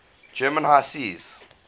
german high seas